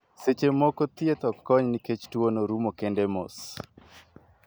Seche moko ,thieth ok kony ni kech tuo no rumo kende mos.